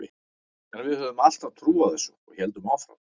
En við höfðum alltaf trú á þessu og héldum áfram.